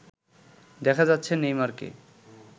দেখা যাচ্ছে নেইমারকে